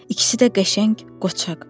İkisi də qəşəng, qoçaq.